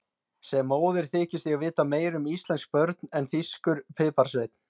Sem móðir þykist ég vita meira um íslensk börn en þýskur piparsveinn.